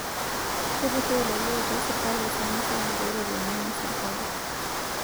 Kepuroo lelo otii sirkali esiana sapuk oo ropiyiani ina sirkali